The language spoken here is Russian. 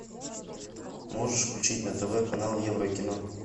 можешь включить на тв канал евро кино